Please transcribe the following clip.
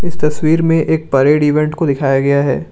इस तस्वीर में एक परेड इवेंट को दिखाया गया है।